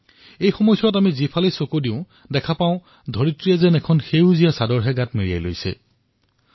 এই বতৰত আমি যেতিয়াই আমাৰ চৌপাশে চাও তেতিয়া এনে অনুভৱ হয় যেন ধৰিত্ৰীয়ে সেউজীয়া চাদৰ মেৰিয়াই লৈছে